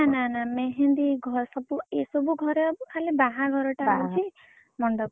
ନା ନା मेहेंदी ଘରେ ସବୁ ଏ ସବୁ ଘରେ ହବ ଖାଲି ବାହାଘର ଟା ହଉଛି ମଣ୍ଡପ ରେ ହବ।